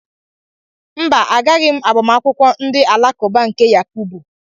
Mba, agaghị m agbamakwụkwọ ndị alakụba nke Yakubu